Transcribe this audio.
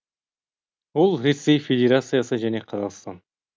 ол ресей федерациясы және қазақстан